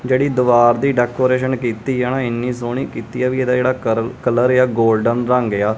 ਜਿਹੜੀ ਦਿਵਾਰ ਦੀ ਡੈਕੋਰੇਸ਼ਨ ਕੀਤੀ ਆ ਨਾਂ ਇਹਨੀਂ ਸੋਹਣੀ ਕੀਤੀ ਆ ਵਈ ਇਹਦਾ ਜਿਹੜਾ ਕਰਲ ਕਲਰ ਏ ਆ ਗੋਲਡਨ ਰੰਗ ਏ ਆ।